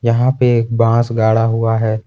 यहां पे एक बांस गाड़ा हुआ है।